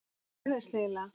Hvað gerðist eiginlega?